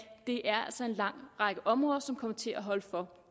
det er en lang række områder som kommer til at holde for